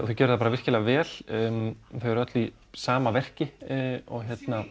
þau gerðu það bara virkilega vel þau eru öll í sama verki og